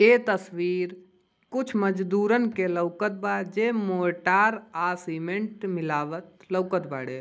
ये तस्वीर कुछ मजदूरण की लौकत बा जे मोटार आ सिमेन्ट मिलावत लौकत बाड़े ।